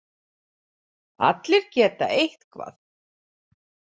Allir geta eitthvað